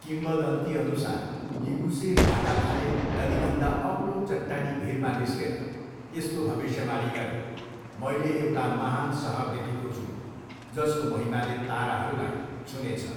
किम्वदन्तीअनुसार Libuse भ्लाटाभाले नदीभन्दा अग्लो चट्टानी भिरमा निस्केर यस्तो भविष्यवाणी गरे, मैले एउटा महान् सहर देखेको छु जसको महिमाले ताराहरूलाई छुनेछ।